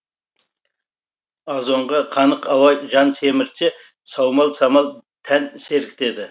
азонға қанық ауа жан семіртсе саумал самал тән сергітеді